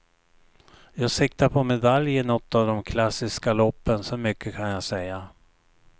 Jag siktar på medalj i nåt av dom klassiska loppen, så mycket kan jag säga.